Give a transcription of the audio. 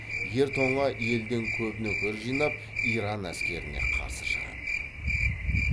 ер тоңа елден көп нөкер жинап иран әскеріне қарсы шығады